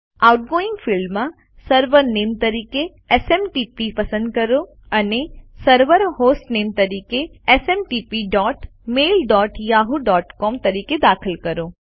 outgoing ફિલ્ડમાં server નામે તરીકે એસએમટીપી પસંદ કરો અને સર્વર હોસ્ટનેમ તરીકે smtpmailyahooસીઓએમ દાખલ કરો